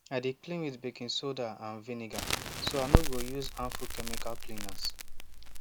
i dey clean with baking soda and vinegar so i no go use harmful chemical cleaners